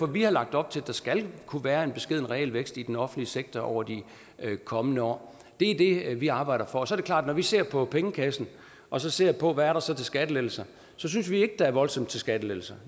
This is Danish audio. vi har lagt op til at der skal kunne være en beskeden realvækst i den offentlige sektor over de kommende år det er det vi arbejder for og så er det klart at når vi ser på pengekassen og ser på hvad der så er til skattelettelser synes vi ikke der er voldsomt til skattelettelser